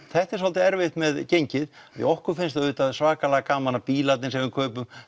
þetta er svolítið erfitt með gengið því okkur finnst auðvitað svakalega gaman að bílarnir sem við kaupum